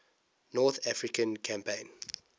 north african campaign